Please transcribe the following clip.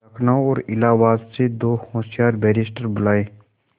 लखनऊ और इलाहाबाद से दो होशियार बैरिस्टिर बुलाये